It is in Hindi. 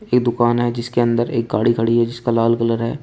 ये दुकान है जिसके अंदर एक गाड़ी खड़ी है जिसका लाल कलर है।